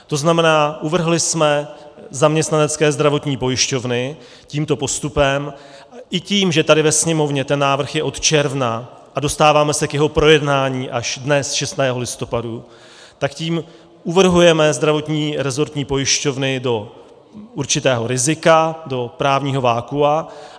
To znamená, uvrhli jsme zaměstnanecké zdravotní pojišťovny tímto postupem i tím, že tady ve Sněmovně ten návrh je od června a dostáváme se k jeho projednání až dnes, 6. listopadu, tak tím uvrhujeme zdravotní rezortní pojišťovny do určitého rizika, do právního vakua.